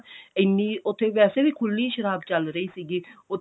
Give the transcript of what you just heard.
ਇੰਨੀ ਉੱਥੇ ਵੈਸੇ ਵੀ ਖੁੱਲੀ ਸ਼ਰਾਬ ਚੱਲ ਰਹੀ ਸੀਗੀ ਉੱਥੇ